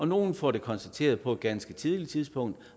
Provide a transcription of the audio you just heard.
nogle får det konstateret på et ganske tidligt tidspunkt